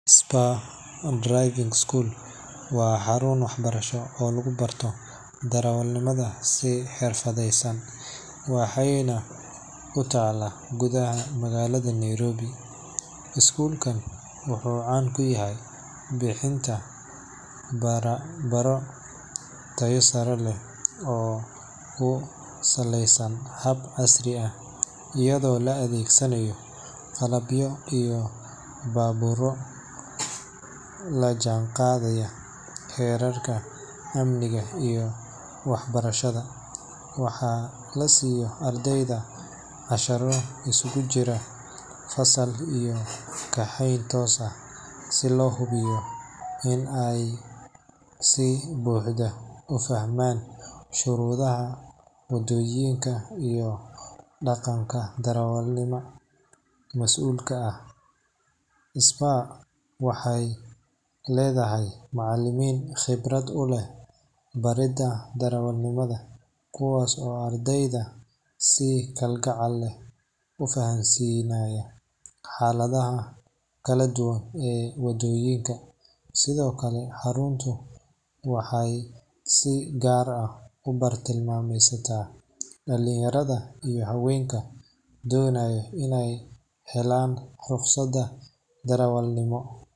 Spurs Driving School waa xarun waxbarasho oo lagu barto darawalnimada si xirfadaysan, waxayna ku taallaa gudaha magaalada Nairobi. Iskuulkan wuxuu caan ku yahay bixinta tababaro tayo sare leh oo ku saleysan hab casri ah, iyadoo la adeegsanayo qalabyo iyo baabuurro la jaanqaadaya heerarka amniga iyo waxbarashada. Waxaa la siiyo ardayda casharro isugu jira fasal iyo kaxayn toos ah, si loo hubiyo in ay si buuxda u fahmaan shuruucda waddooyinka iyo dhaqanka darawalnimada mas’uulka ah. Three Research Spurs waxay leedahay macallimiin khibrad u leh baridda darawalnimada kuwaas oo ardayda si kalgacal leh u fahansiinaya xaaladaha kala duwan ee wadooyinka. Sidoo kale, xaruntu waxay si gaar ah u bartilmaameedsataa dhalinyarada iyo haweenka doonaya in ay helaan ruqsadda darawalnimo,